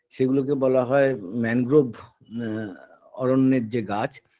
সেগুলোকে বলা হয় mangrove আ অরণ্যের যে গাছ